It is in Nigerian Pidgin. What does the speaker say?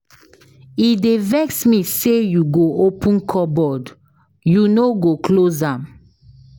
E dey vex me sey you go open cupboard you no go close am.